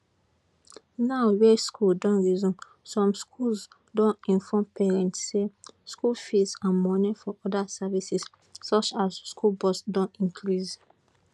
now wey schools don resume some schools don inform parents say school fees and moni for oda services such as school bus don increase